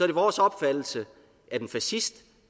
det vores opfattelse at en fascist